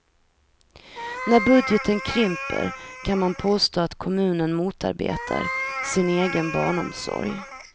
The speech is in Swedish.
När budgeten krymper kan man påstå att kommunen motarbetar sin egen barnomsorg.